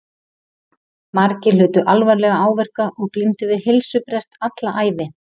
Margir hlutu alvarlega áverka og glímdu við heilsubrest alla ævi.